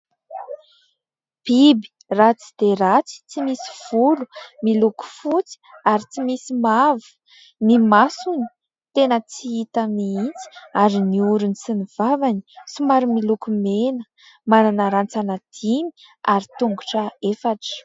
Biby ratsy dia ratsy tsy misy volo, miloko fotsy ary tsy misy mavo. Ny masony tena tsy hita mihitsy ary ny orony sy ny vavany somary miloko mena. Manana rantsana dimy ary tongotra efatra.